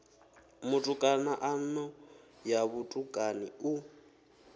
mutukana ano ya vhutukani u